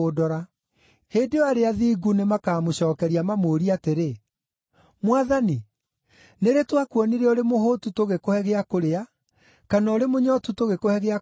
“Hĩndĩ ĩyo arĩa athingu nĩmakamũcookeria mamũũrie atĩrĩ, ‘Mwathani, nĩ rĩ twakuonire ũrĩ mũhũũtu tũgĩkũhe gĩa kũrĩa, kana ũrĩ mũnyootu tũgĩkũhe gĩa kũnyua?